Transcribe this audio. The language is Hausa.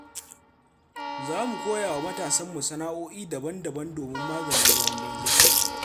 Za mu koya wa matasanmu sana'oi'i daban-daban domin maganin zaman banza.